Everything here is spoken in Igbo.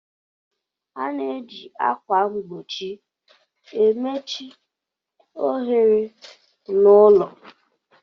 A na-eji ákwà mgbochi emechi ohere na úlọ.